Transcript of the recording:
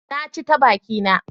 Na ci ta bakina.